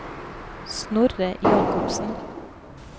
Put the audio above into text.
Snorre Jacobsen